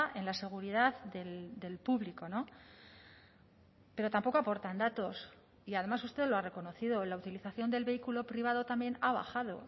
en la seguridad del público pero tampoco aportan datos y además usted lo ha reconocido la utilización del vehículo privado también ha bajado